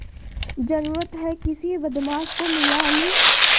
जरुरत हैं किसी बदमाश को मिला लूँ